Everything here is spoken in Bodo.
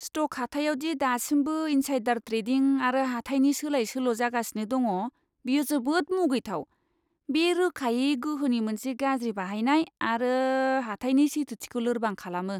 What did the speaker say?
स्ट'क हाथायाव दि दासिमबो इन्साइडार ट्रेडिं आरो हाथाइनि सोलाय सोल' जागासिनो दङ, बियो जोबोद मुगैथाव। बे रोखायै गोहोनि मोनसे गाज्रि बाहायनाय आरो हाथाइनि सैथोथिखौ लोरबां खालामो!